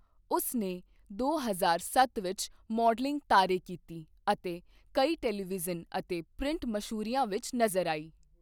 ਉਸ ਨੇ ਦੋ ਹਜ਼ਾਰ ਸੱਤ ਵਿੱਚ ਮਾਡਲਿੰਗ ਤਾਰੇ ਕੀਤੀ ਅਤੇ ਕਈ ਟੈਲੀਵਿਜ਼ਨ ਅਤੇ ਪ੍ਰਿੰਟ ਮਸ਼ਹੂਰੀਆਂ ਵਿੱਚ ਨਜ਼ਰ ਆਈ।